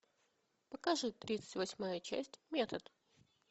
покажи тридцать восьмая часть метод